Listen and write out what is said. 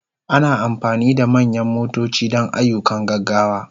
Ana amfani da manyan motoci don ayyukan gaggawa.